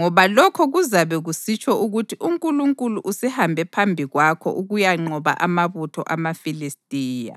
ngoba lokho kuzabe kusitsho ukuthi uNkulunkulu usehambe phambi kwakho ukuyanqoba amabutho amaFilistiya.”